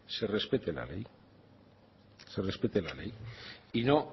se respete la ley y no